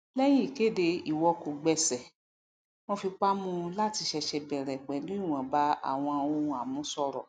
lẹyìn ìkéde ìwọkogbèsè wọn fipá mú láti sṣẹṣẹ bẹrẹ pẹlú ìwọnba áwọn ohun àmúṣọrọ